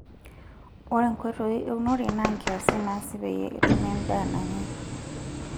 Ore nkoitoi eunore naa nkiasin naasi peyie etumi endaa nanyay.